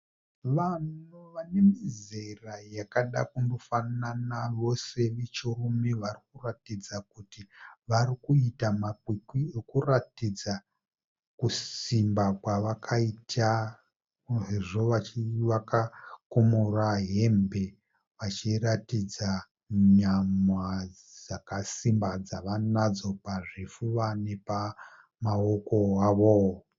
Vanhu vanemizera yakada kundofanana vose vechirume varikuratidza kuti varikuita makwikwi okuratidza kusimba kwavakaita sezvo vachiva vakakumura hembe vachiratidza nyama dzakasimba dzavanadzo pazvifuva napamaoko avo.